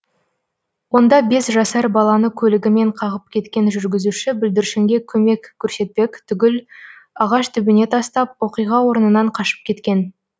онда бес жасар баланы көлігімен қағып кеткен жүргізуші бүлдіршінге көмек көрсетпек түгіл ағаш түбіне тастап оқиға орнынан қашып кеткен